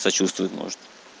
сочувствует может